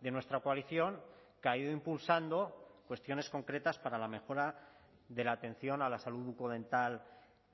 de nuestra coalición que ha ido impulsando cuestiones concretas para la mejora de la atención a la salud bucodental